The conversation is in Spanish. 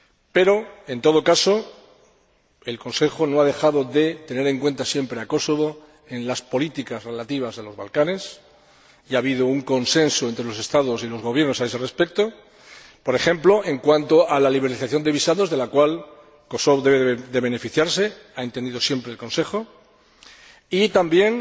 Pero, en todo caso, el Consejo no ha dejado de tener en cuenta siempre a Kosovo en las políticas relativas a los Balcanes y ha habido un consenso entre los Estados y los Gobiernos a ese respecto, por ejemplo, en cuanto a la liberalización de visados, de la cual Kosovo debe beneficiarse, como ha entendido siempre el Consejo. También